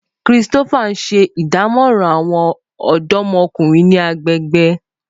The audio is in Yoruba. Christopher n ṣe idamọran awọn ọdọmọkunrin ni agbegbe.